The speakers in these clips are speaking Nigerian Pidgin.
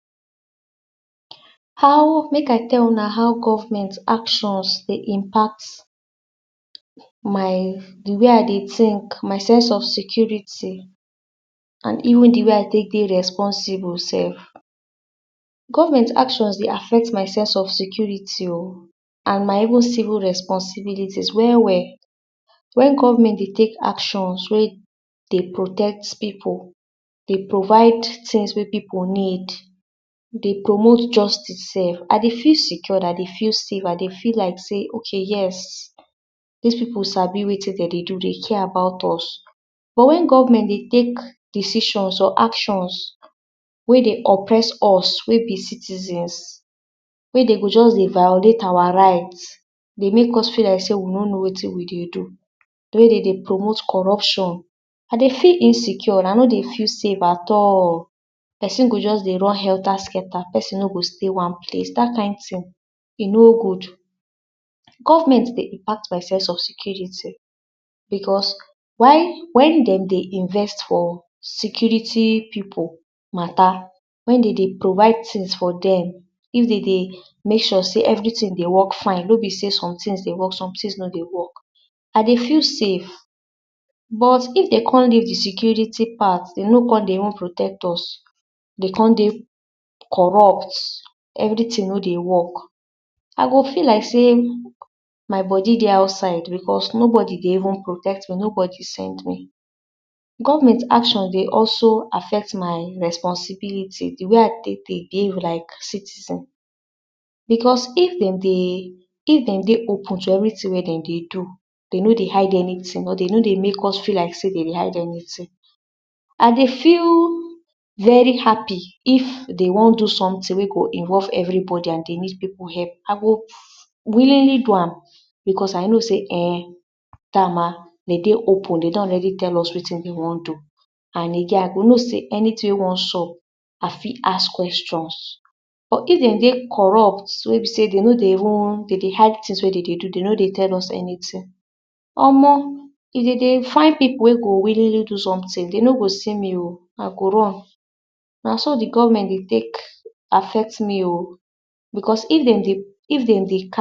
For dis picture wey una dey see so e be like sey na community cleaning wey dem dey do for dis picture. Everybody dey carry cutlass dey carry rope pipu dey use drag dey carry de grass wey dem dey cut and dem dey wear de same uniform e mean sey dem dey organised and na someting wey dem take time plan do so as dey comot like dis from different houses from different places dey come togeda make dem fit clean de environment so dat dem go fit avoid sometings like sickness like mosquito like malaria because dis kind place wey dirty wen bush plenty animal fit live inside. poisonous snake fit dey live inside and e no good for our children e no good for us make someting no bite us make someting no do person make person fall sick go enter hospital. so dis clean up now dey very necessary and na why dey come togeda wear uniform dem dey organised dem dey try hard so dem go cut de grass use spade and cutlass dey make sure sey everywhere go dey alright na dis kind ting dey bring pipu togeda dem go come togeda do dis kind ting as dem dey do am. so dem dey first with each other laugh dey create bond with each other. for dis community na pipu for different houses different homes come out come dey clean and e be like sey environmental cleaning dey dey wen dey don set aside- dey don plan am well na why dem dey very organised. Dem dey even talk to each other dem dey talk about de environment dem dey fit put head togeda wey dey fit do wetin dey wan do make e good for everybody and na dis kind ting wey we suppose do to add our own sense for make dis country beta ni. i be everyting be government. government go do dia part we sef we go follow do our part. so dis small small tings wey we fit do clean de environment to cut grass so dat we go fit dey and get peace of mind make someting no dey pursue or bite person for night or for afternoon wen children dey play. so na dis kind ting wey we suppose dey do to keep our community clean keep our environment clean. no be everyting be government we sef we suppose dey keep our place too so dat noting go do us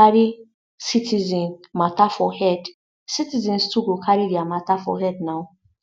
our duty be dis citizens as good citizens of our country.